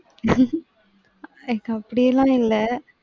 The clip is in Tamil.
எனக்கு அப்டி எல்லாம் இல்ல.